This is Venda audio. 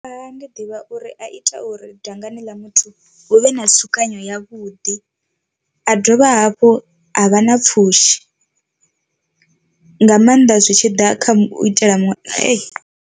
Makhaha ḓivha uri a ita uri dangani ḽa muthu hu vhe na tsukanyo ya vhuḓi a dovha hafhu a vha na pfhushi nga maanḓa zwi tshi ḓa kha u itela muṅwe .